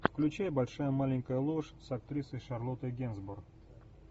включай большая маленькая ложь с актрисой шарлоттой генсбур